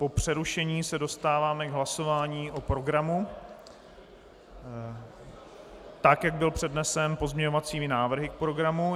Po přerušení se dostáváme k hlasování o programu, tak jak byl přednesen pozměňovacími návrhy k programu.